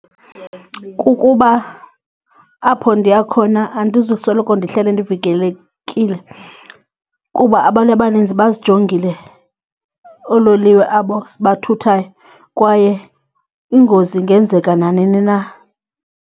Kukuba apho ndiya khona andizusoloko ndihleli ndividelekile kuba abantu abaninzi bazijongile oololiwe abo sibathuthayo kwaye ingozi ingenzeka nanini na.